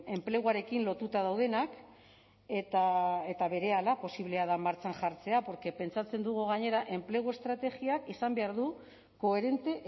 enpleguarekin lotuta daudenak eta berehala posiblea da martxan jartzea porque pentsatzen dugu gainera enplegu estrategiak izan behar du koherente